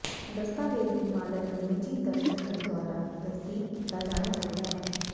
ਦਸਤਾਵੇਜ਼ ਦੇ ਮਾਲਕ ਦੇ ਨਿੱਜੀ ਦਸਤਖਤ ਦੁਆਰਾ ਤਸਦੀਕ ਕੀਤਾ ਜਾਣਾ ਚਾਹੀਦਾ ਹੈ